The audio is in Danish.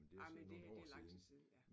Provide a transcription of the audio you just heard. Ej, men det det lang tid siden ja